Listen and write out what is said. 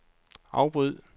afbryd